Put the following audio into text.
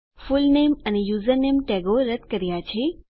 full name અને username ટેગો રદ કર્યા છે